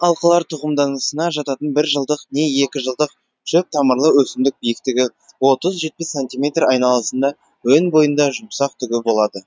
алқалар тұқымдасына жататын бір жылдық не екі жылдық шөп тамырлы өсімдік биіктігі отыз жетпіс сантиметр айналасында өн бойында жұмсақ түгі болады